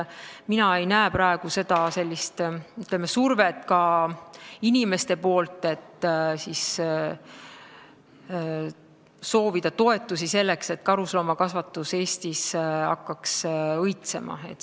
Mina ei näe praegu ka sellist survet inimeste poolt, et soovitaks toetusi, selleks et karusloomakasvatus Eestis hakkaks õitsema.